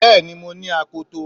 Bẹ́ẹ̀ni mo ní akoto